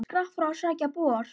Skrapp frá að sækja bor.